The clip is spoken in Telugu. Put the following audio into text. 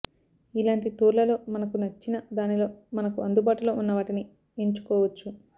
ఇలాంటి టూర్లలో మనకు నచ్చిన దానిలో మనకు అందుబాటులో ఉన్న వాటిని ఏన్చుకోవచ్చు